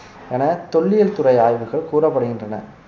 என தொல்லியல்துறை ஆய்வுகள் கூறப்படுகின்றன